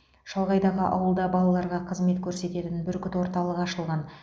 шалғайдағы ауылда балаларға қызмет көрсететін бүркіт орталығы ашылған